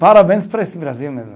Parabéns para esse Brasil mesmo.